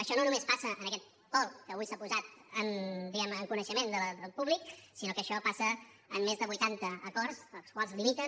això no només passa en aquest vol que avui s’ha posat diguem ne en coneixement del públic sinó que això passa en més de vuitanta acords els quals limiten